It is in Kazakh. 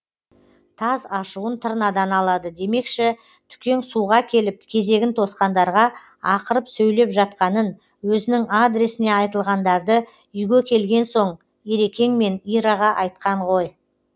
таз ашуын тырнадан алады демекші түкең суға келіп кезегін тосқандарға ақырып сөйлеп жатқанын өзінің адресіне айтылғандарды үйге келген соң ерекеңмен ираға айтқан ғой